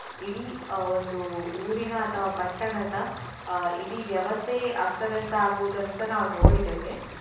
ಇಡೀ ಅಹ್ ಒಂದು ಊರಿನ ಅಥವಾ ಪಟ್ಟಣದ ಅಹ್ ಇಡಿ ವ್ಯವಸ್ಥೆಯೇ ಅಸ್ತವ್ಯಸ್ತ ಆಗುವುದನ್ನುಸ ನಾವು ನೋಡಿದ್ದೇವೆ.